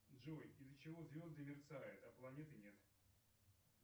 джой из за чего звезды мерцают а планеты нет